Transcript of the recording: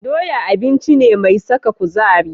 Doya abinci ce mai saka kuzari.